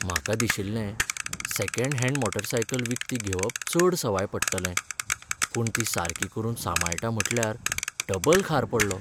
म्हाका दिशिल्लें second hand motorcycle विकती घेवप चड सवाय पडटलें. पूण ती सारकी करून सांमाळटा म्हटल्यार डबल खार पडलो.